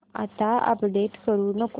आता अपडेट करू नको